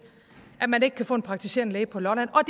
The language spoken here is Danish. at man ikke kan få en praktiserende læge på lolland og